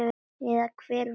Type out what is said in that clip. Eða hver veit?